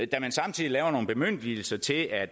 da man samtidig laver nogle bemyndigelser til at